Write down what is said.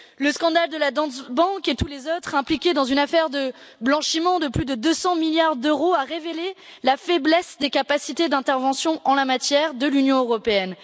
Le scandale de la Danske Bank et tous les autres impliqués dans une affaire de blanchiment de plus de 200 milliards d'euros a révélé la faiblesse des capacités d'intervention en la matière de l'Union européenne.